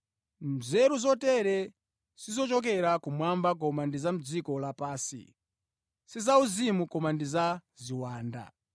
“Nzeru” zotere sizochokera kumwamba koma ndi za mʼdziko lapansi, si zauzimu koma ndi za ziwanda.